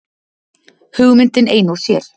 Hugmyndin ein og sér.